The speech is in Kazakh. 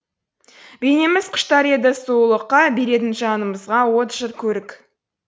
бейнеміз құштар еді сұлулыққа беретін жанымызға от жыр көрік